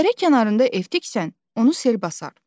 Dərə kənarında ev tiksən, onu sel basar.